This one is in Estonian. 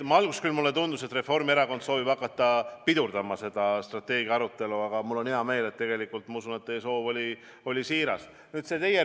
Alguses mulle küll tundus, et Reformierakond soovib hakata strateegia aruelu pidurdama, aga tegelikult ma usun, et teie soov oli siiras, ja mul on hea meel.